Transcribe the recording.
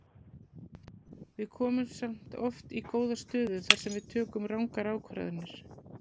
Við komumst samt oft í góða stöðu þar sem við tökum rangar ákvarðanir.